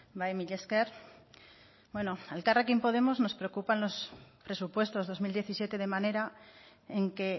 bai mila esker a elkarrekin podemos nos preocupan los presupuestos dos mil diecisiete de manera en que